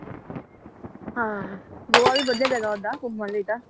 ਹਾਂ, ਗੋਆ ਵੀ ਵਧੀਆ ਜਗ੍ਹਾ ਓਦਾਂ ਘੁੰਮਣ ਲਈ ਤਾਂ।